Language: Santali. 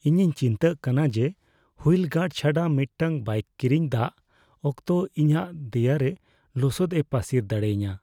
ᱤᱧᱤᱧ ᱪᱤᱱᱛᱟᱹ ᱠᱟᱱᱟ ᱡᱮ ᱦᱩᱭᱤᱞ ᱜᱟᱨᱰ ᱪᱷᱟᱰᱟ ᱢᱤᱫᱴᱟᱝ ᱵᱟᱭᱤᱠ ᱠᱤᱨᱤᱧ ᱫᱟᱜ ᱚᱠᱛᱚ ᱤᱧᱟᱹᱜ ᱫᱮᱭᱟᱨᱮ ᱞᱚᱥᱚᱫ ᱮ ᱯᱟᱹᱥᱤᱨ ᱫᱟᱲᱮᱭᱟᱹᱧᱟᱹ ᱾